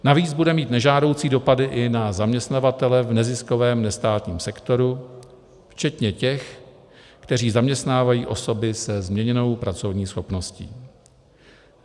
Navíc bude mít nežádoucí dopady i na zaměstnavatele v neziskovém nestátním sektoru, včetně těch, kteří zaměstnávají osoby se změněnou pracovní schopností.